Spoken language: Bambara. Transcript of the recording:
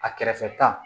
A kɛrɛfɛ ta